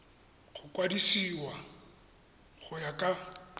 go kwadisiwa go ya ka